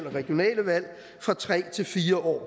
regionale valg fra tre til fire år